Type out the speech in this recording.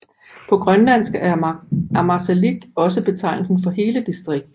På grønlandsk er Ammassalik også betegnelsen for hele distriktet